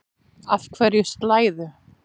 Af hverju slæðu?